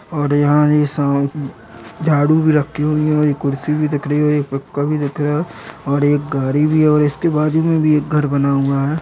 और यहां एक झाड़ू भी रखी हुई है और एक कुर्सी भी दिख रही है और पंखा भी दिख रहा है और एक गाडी भी है और इसके बाजू में भी एक घर बना हुआ है।